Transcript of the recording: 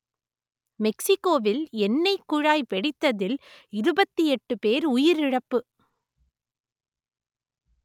மெக்சிக்கோவில் எண்ணெய்க் குழாய் வெடித்ததில் இருபத்தி எட்டு பேர் உயிரிழப்பு